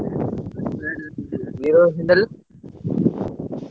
ଭିତରେ।